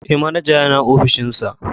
Eh manaja yana opishinsa.